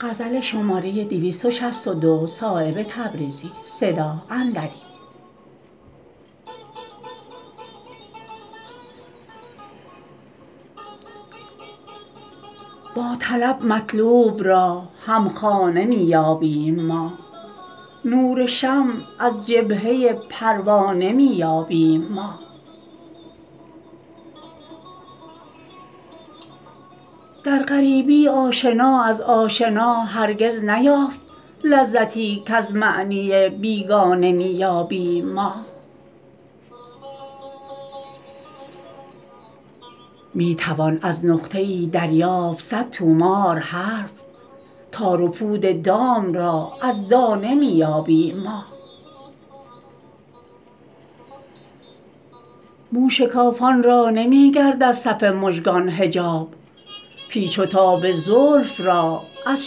با طلب مطلوب را همخانه می یابیم ما نور شمع از جبهه پروانه می یابیم ما در غریبی آشنا از آشنا هرگز نیافت لذتی کز معنی بیگانه می یابیم ما می توان از نقطه ای دریافت صد طومار حرف تار و پود دام را از دانه می یابیم ما موشکافان را نمی گردد صف مژگان حجاب پیچ و تاب زلف را از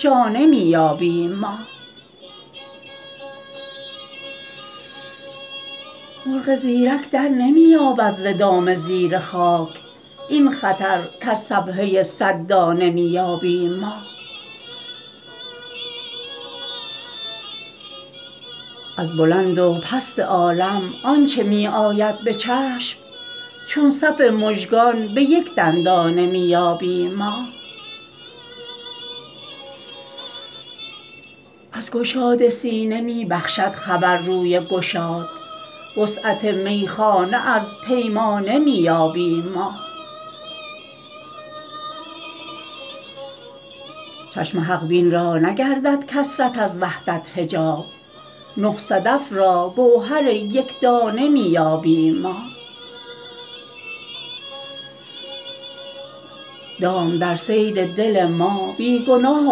شانه می یابیم ما مرغ زیرک درنمی یابد ز دام زیر خاک این خطر کز سبحه صد دانه می یابیم ما از بلند و پست عالم آنچه می آید به چشم چون صف مژگان به یک دندانه می یابیم ما از گشاد سینه می بخشد خبر روی گشاد وسعت میخانه از پیمانه می یابیم ما چشم حق بین را نگردد کثرت از وحدت حجاب نه صدف را گوهر یکدانه می یابیم ما دام در صید دل ما بی گناه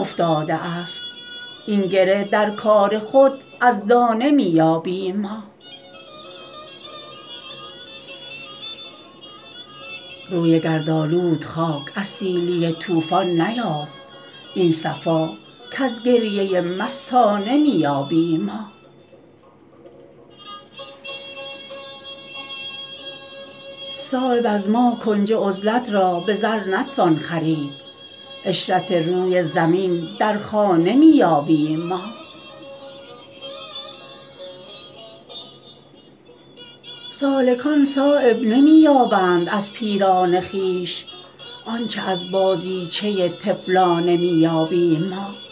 افتاده است این گره در کار خود از دانه می یابیم ما روی گردآلود خاک از سیلی طوفان نیافت این صفا کز گریه مستانه می یابیم ما صایب از ما کنج عزلت را به زر نتوان خرید عشرت روی زمین در خانه می یابیم ما سالکان صایب نمی یابند از پیران خویش آنچه از بازیچه طفلانه می یابیم ما